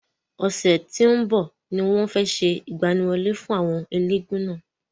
Ọ̀sẹ̀ tí ó ń bọ̀ ni wọ́n fe se ìgbaniwọlé fún àwọn elégún náà.